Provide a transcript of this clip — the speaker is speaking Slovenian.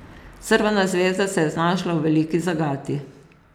Crvena zvezda se je znašla v veliki zagati.